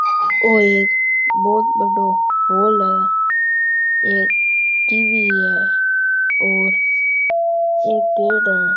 ओ बहोत बढ्दो हॉल है एक टीवी है और एक बेड है।